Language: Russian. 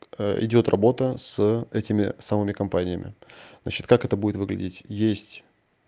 идёт работа с этими самыми компаниями значит как это будет выглядеть есть